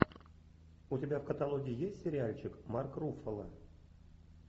у тебя в каталоге есть сериальчик марк руффало